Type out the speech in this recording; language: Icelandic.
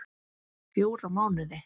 Fjóra mánuði.